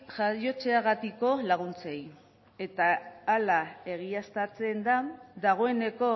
jaiotzeagatiko laguntzei eta hala egiaztatzen da dagoeneko